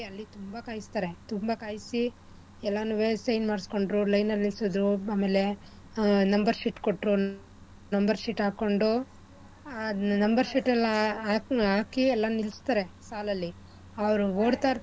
ಅಲ್ಲಿ ತುಂಬಾ ಕಾಯಿಸ್ತಾರೇ ತುಂಬಾ ಕಾಯ್ಸಿ ಎಲ್ಲಾನುವೆ sign ಮಾಡಿಸ್ಕೊಂಡ್ರು line ಅಲ್ ನಿಲ್ಸಿದ್ರು ಆಮೇಲೆ ಆ number sheet ಕೊಟ್ರು number sheet ಹಾಕೊಂಡು ಆ number sheet ಎಲ್ಲಾ ಹಾಕಿ ಎಲ್ಲಾ ನಿಲ್ಲಿಸ್ತಾರೆ ಸಾಲಲ್ಲಿ ಅವ್ರು ಓಡ್ತಾ ಇರ್ತಾರೇ.